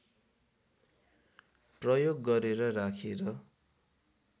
प्रयोग गरेर राखेर